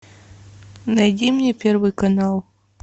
найди мне первый канал